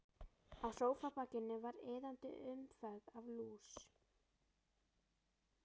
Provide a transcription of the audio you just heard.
Á sófabakinu var iðandi umferð af lús.